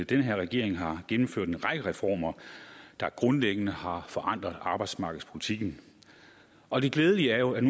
den her regering har gennemført en række reformer der grundlæggende har forandret arbejdsmarkedspolitikken og det glædelige er jo